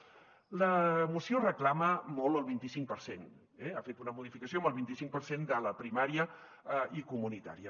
la moció reclama molt el vint i cinc per cent ha fet una modificació amb el vinti cinc per cent de la primària i comunitària